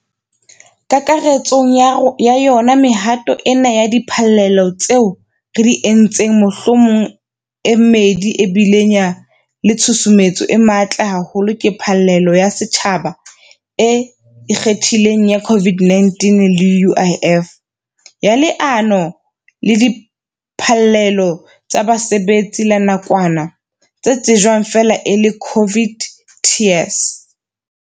Kakaretsong ya ya yona mehato ena ya diphallelo tseo re di entseng mohlomong e mmedi e bileng le tshusumetso e matla haholo ke phallelo ya setjhaba e ikgethileng ya COVID-19 le ya UIF, ya Leano la Diphallelo tsa Basebetsi la Nakwana, le tsejwang feela e le COVID TERS.